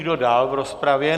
Kdo dál v rozpravě?